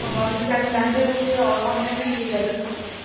ও বাবাঃ আমি তো জানি না আমি তো জানি যে online এ দিয়ে গেছো সবকিছুই